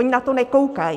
Oni na to nekoukají.